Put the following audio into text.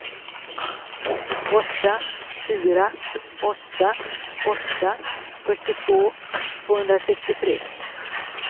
åtta fyra åtta åtta fyrtiotvå tvåhundrasextiotre